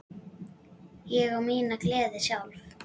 Ég á mína gleði sjálf.